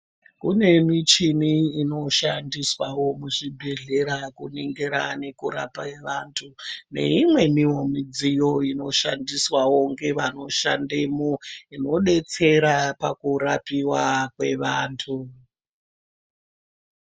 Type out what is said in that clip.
Kune muchini inoshandiswawo kuzvibhehlera kuningira nekurapa vantu neimweniwo mudziyo inoshandiswa ngevanoshandemwo inodetsera pakurapiwa kwevantu.